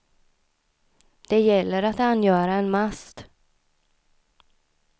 Det gäller att angöra en mast.